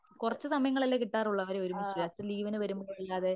കുറച്ച് സമയങ്ങൾ അല്ലേ കിട്ടാറുള്ളൂ അവരെ ഒരുമിച്ച് അച്ഛന് ലീവിന് വരുമ്പോഴല്ലാതെ.